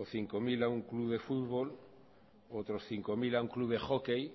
o cinco mil a un club de fútbol otros cinco mil a un club de hockey